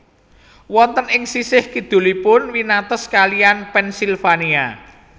Wonten ing sisih kidulipun winates kaliyan Pennsylvania